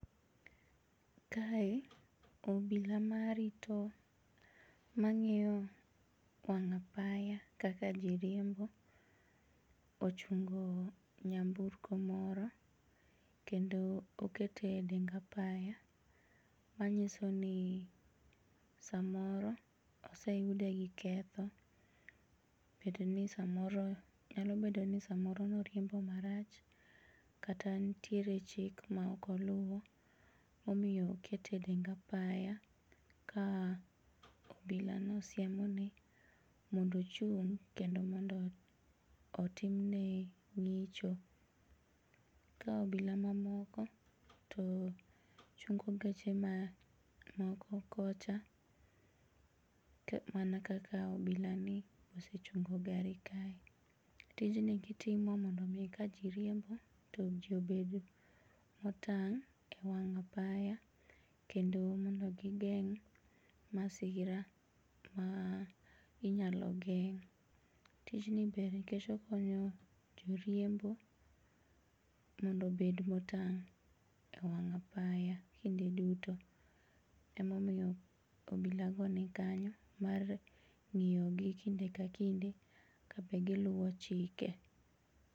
Kae obila marito ,mang'iyo wang' apaya kaka jiriembo ochungo nyamburko moro kendo okete dengapaya manyisoni samoro oseyude gi ketho nyalobeodni samoro noriembo marach kata ntiere chik ma okoluo momiyo okete dengapaya ka obilano siemoni mondo ochung' kendo mondo otimne ng'icho ka obila mamoko to chungo geche mamoko kocha mana kaka obilani osechungo gari kae. Tijni gitimo mondo mii ka jii riembo to jii obed motang' e wang' apaya kendo gigeng' masira ma inyalo geng'.Tijni ber nikech okonyo joriembo mondobed motang' e wang' apaya kinde duto emomiyo obilago nikanyo mar ng'iyogi kinde ka kinde kabe giluo chike.